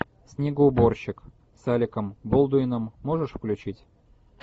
снегоуборщик с аликом болдуином можешь включить